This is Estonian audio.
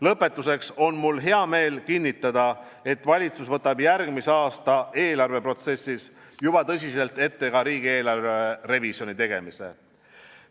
Lõpetuseks on mul hea meel kinnitada, et valitsus võtab järgmise aasta eelarveprotsessis juba tõsiselt ette ka riigieelarve revisjoni tegemise.